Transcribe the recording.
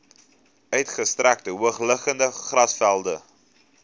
uitgestrekte hoogliggende grasvelde